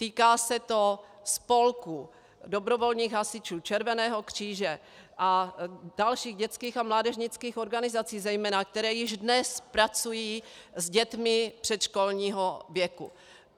Týká se to spolků, dobrovolných hasičů, Červeného kříže a dalších dětských a mládežnických organizací zejména, které již dnes pracují s dětmi předškolního věku.